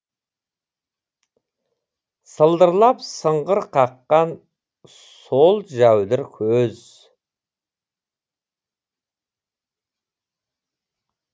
сылдырлап сыңғыр қаққан сол жәудір көз